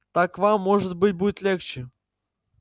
так вам может быть будет легче